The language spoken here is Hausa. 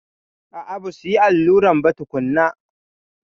A'a, basuyi alluran ba tukunna.